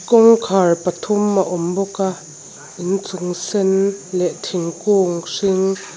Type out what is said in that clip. kawngkhar pathum a awm bawk a inchung sen leh thingkung hring--